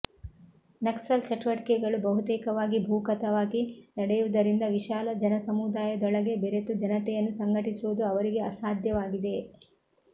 ನಕ್ಸಲ್ ಚಟುವಟಿಕೆಗಳು ಬಹುತೇಕವಾಗಿ ಭೂಗತವಾಗಿ ನಡೆಯುವುದರಿಂದ ವಿಶಾಲ ಜನಸಮುದಾಯದೊಳಗೆ ಬೆರೆತು ಜನತೆಯನ್ನು ಸಂಘಟಿಸುವುದು ಅವರಿಗೆ ಅಸಾಧ್ಯವಾಗಿದೆ